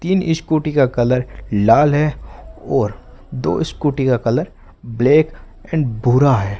तीन स्कूटी का कलर लाल है और दो स्कूटी का कलर ब्लैक एंड भूरा हैं।